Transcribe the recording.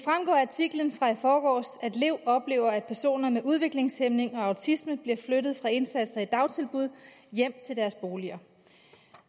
af artiklen fra i forgårs at lev oplever at personer med udviklingshæmning og autisme bliver flyttet fra indsatser i dagtilbud og hjem til deres boliger